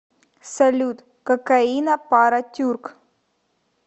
салют кокаина пара тюрк